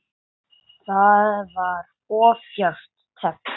Það var of djarft teflt.